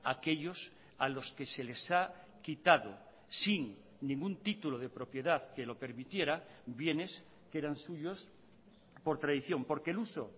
a aquellos a los que se les ha quitado sin ningún título de propiedad que lo permitiera bienes que eran suyos por tradición porque el uso